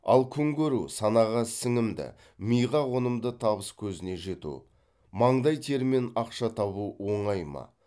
ал күнкөру санаға сіңімді миға қонымды табыскөзіне жету маңдай термен ақша табу оңай ма